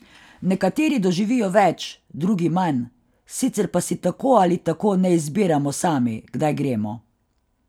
Nekateri doživijo več, drugi manj, sicer pa si tako ali tako ne izbiramo sami, kdaj gremo.